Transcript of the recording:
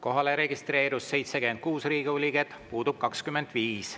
Kohalolijaks registreerus 76 Riigikogu liiget, puudub 25.